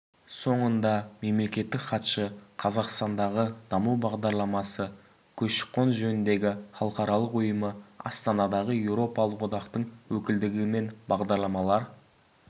соңында мемлекеттік хатшы қазақстандағы даму бағдарламасы көші-қон жөніндегі халықаралық ұйымы астанадағы еуропалық одақтың өкілдігі мен бағдарламалар